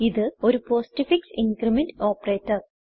ഇത് ഒരു postfix increment operator